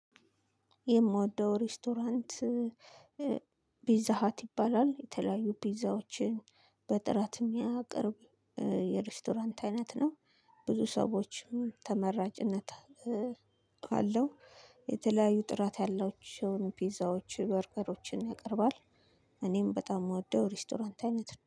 የምወደው ሬስቶራንት ፒዛሃት ይባላል የተለያዩ ፒዛዎችን በጥራት የሚያቀርብ የሬስቶራንት አይነት ነው። ብዙ ሰዎችም ተመራጭነት አለው። የተለያዩ ጥራት ያላቸውን ፒዛዎች በርገሮችን ያቀርባል። እኔም በጣም እምወደው ሬስቶራንት አይነት